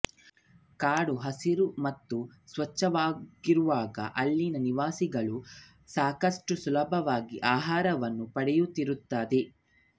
ಕಾಡು ಹಸಿರು ಮತ್ತು ಸ್ವಚ್ಛವಾಗಿರುವಾಗ ಅಲ್ಲಿನ ನಿವಾಸಿಗಳು ಸಾಕಷ್ಟು ಸುಲಭವಾಗಿ ಆಹಾರವನ್ನು ಪಡೆಯುತ್ತಿರುತ್ತದೆ